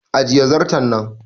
Ajiye zarton nan!